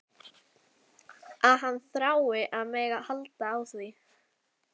Að hann þrái að mega halda á því.